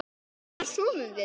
Hvers vegna sofum við?